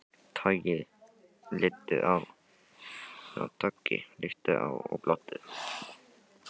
Toggi litu á hann og glottu.